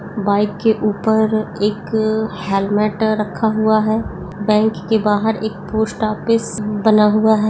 Bike के ऊपर एक हेलमेट रखा हुआ है बाइक के बाहर एक पोस्ट ऑफिस बना हुआ है।